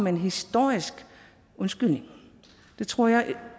en historisk undskyldning jeg tror det